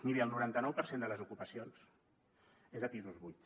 miri el noranta nou per cent de les ocupacions és a pisos buits